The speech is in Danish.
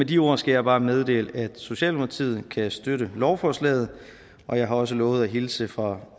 de ord skal jeg bare meddele at socialdemokratiet kan støtte lovforslaget og jeg har også lovet at hilse fra